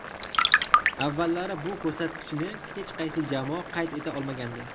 Avvallari bu ko‘rsatkichni hech qaysi jamoa qayd eta olmagandi.